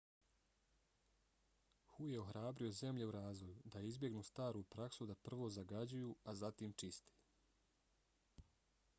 hu je ohrabrio zemlje u razvoju da izbjegnu staru praksu da prvo zagađuju a zatim čiste.